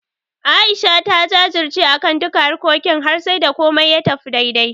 A'isha ta jajirce akan duka harkokin har sai da komai ya tafi daidai.